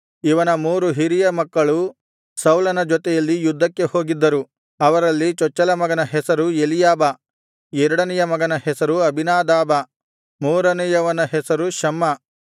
ಇವನ ಮೂರು ಹಿರಿಯ ಮಕ್ಕಳು ಸೌಲನ ಜೊತೆಯಲ್ಲಿ ಯುದ್ಧಕ್ಕೆ ಹೋಗಿದ್ದರು ಅವರಲ್ಲಿ ಚೊಚ್ಚಲ ಮಗನ ಹೆಸರು ಎಲೀಯಾಬ ಎರಡನೆಯ ಮಗನ ಹೆಸರು ಅಬೀನಾದಾಬ ಮೂರನೆಯವನ ಹೆಸರು ಶಮ್ಮ